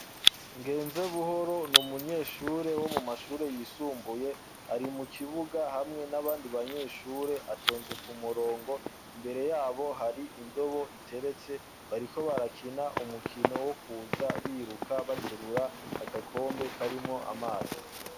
Ngenzebuhoro n’umunyeshure wo mu mashure yisumbuye ari mu kibuga hamwe n'abandi banyeshure atonze ku murongo, imbere yabo hari indobo iteretse bariko barakina umukino wo kuza biruka baterura agakombe karimwo amazi.